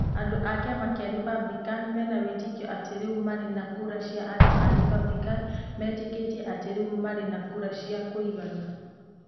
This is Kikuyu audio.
Andũ a kiama kĩa Republican mena wĩtĩkio atĩ rĩu marĩ na kura cia Andũ a Republican metĩkĩtie atĩ rĩu marĩ na kura cia kũigana.